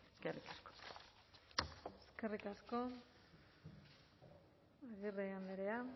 eskerrik asko eskerrik asko agirre andrea